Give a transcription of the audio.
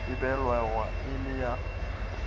e balwago e le ya